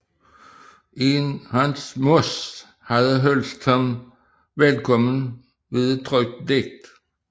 En Hans Moss havde hilst ham velkommen ved et trykt digt